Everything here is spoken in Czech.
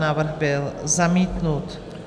Návrh byl zamítnut.